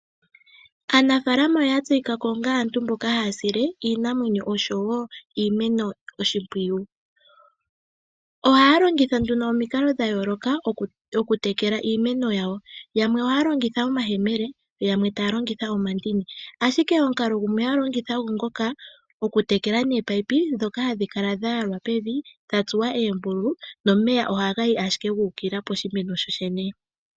Aanimuna oya tseyika onga aantu mboka haya sile iinamweyo osho wo iimeno oshimpwiyu. Ohaya longitha omikalo dha yooloka okutekela iimeno yawo. Aantu yamwe ohaya longitha omahela yamwe omandini, ashike omukalo gumwe haya longitha ogo ngoka gokutekela nominino ndhoka hadhi kala dha yalwa pevi ndha tsuwa oombululu.